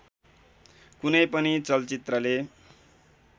कुनै पनि चलचित्रले